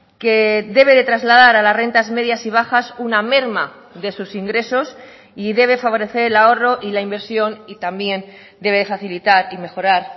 que debe de trasladar a las rentas medias y bajas una merma de sus ingresos y debe favorecer el ahorro y la inversión y también debe facilitar y mejorar